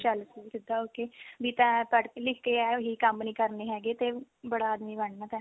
ਚੱਲ ਸਕੂਲ ਸਿੱਧਾ ਹੋਕੇ ਵੀ ਤੈ ਪੜ੍ਹ ਲਿਖ ਕੇ ਇਹੀ ਕੰਮ ਨਹੀਂ ਕਰਨੇ ਹੈਗੇ ਵੀ ਬੜਾ ਆਦਮੀ ਬਣਨਾ ਤੈ